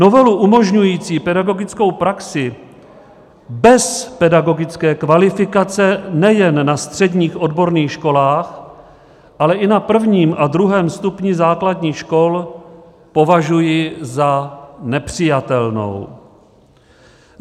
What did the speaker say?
Novelu umožňující pedagogickou praxi bez pedagogické kvalifikace nejen na středních odborných školách, ale i na prvním a druhém stupni základních škol považuji za nepřijatelnou.